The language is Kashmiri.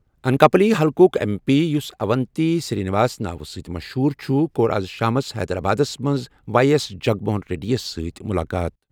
انکاپلی حلقُک ایم پی، یُس اونتی سِرٛی نِواس ناوٕ سۭتۍ مشہوٗر چھُ، کوٚر آز شامَس حیدرآبادَس منٛز وائی ایس جگن موہن ریڈی یَس سۭتۍ مُلاقات ۔